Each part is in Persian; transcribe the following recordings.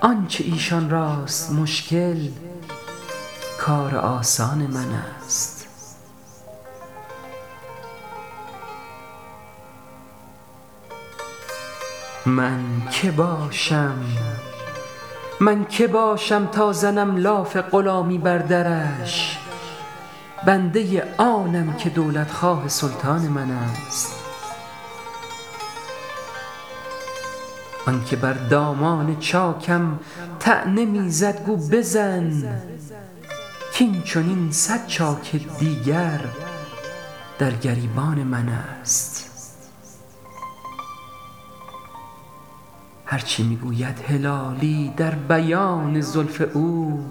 آنچه ایشان راست مشکل کار آسان منست من که باشم تا زنم لاف غلامی بر درش بنده آنم که دولت خواه سلطان منست آن که بر دامان چاکم طعنه می زد گو بزن کین چنین صد چاک دیگر در گریبان منست هر چه می گوید هلالی در بیان زلف او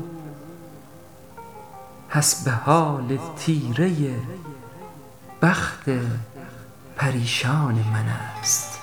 حسب حال تیره بخت پریشان منست